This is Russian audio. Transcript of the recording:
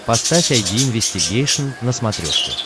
поставь айди инвестигейшн на смотрешке